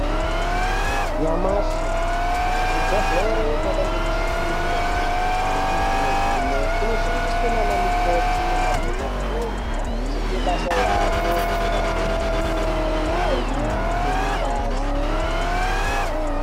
Nyamashi kuzvibhedhleri kwaana nemishina yechizvino zvino inoshandiswe nana mukoti nemadhokodheyi kana achiite basa yayo rekurape antu anorwaye nekutore ngazi dzeantu.